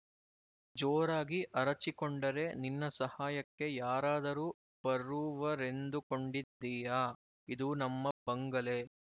ಜೋರಾಗಿ ಅರಚಿಕೊಂಡರೆ ನಿನ್ನ ಸಹಾಯಕ್ಕೆ ಯಾರಾದರೂ ಬರುವರೆಂದುಕೊಂಡಿದ್ದೀಯಾ ಇದು ನಮ್ಮ ಬಂಗಲೆ